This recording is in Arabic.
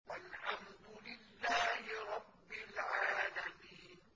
وَالْحَمْدُ لِلَّهِ رَبِّ الْعَالَمِينَ